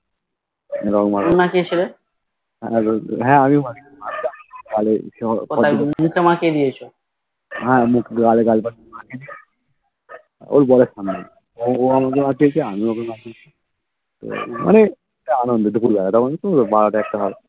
হ্যাঁ মুখে গালে গালে লাগিয়েছি ওই গালে এবার ও আমাকে মাখিয়েছে আমিও ওকে মাখিয়েছি এবার মানে এটা আনন্দ টুকু যা বারো টা একটা হবে